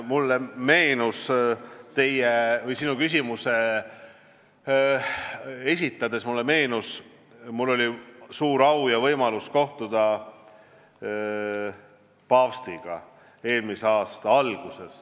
Mulle meenus, kui sa küsimust esitasid, et mul oli eelmise aasta alguses suur au kohtuda paavstiga.